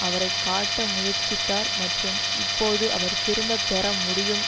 அவரை காட்ட முற்சித்தார் மற்றும் இப்போது அவர் திரும்ப பெற முடியும்